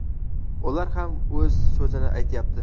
ular ham o‘z so‘zini aytyapti.